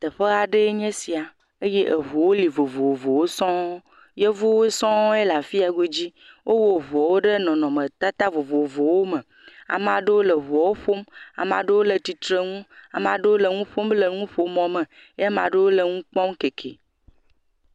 Teƒe aɖee nye sia eye eŋuwo li vovovowo sɔŋ, yevuwo sɔŋ le afi ya godzi, wowɔ ŋuwo ɖe nɔnɔmetata vovovowo me ame aɖeo le ŋuwo ƒom, ame aɖewo le tsitre nu ame aɖewo le nuƒom ɖe nuƒomɔ me eye ame aɖewo le nu kpɔm keke.